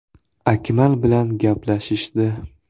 Akmal bilan gaplashishdi.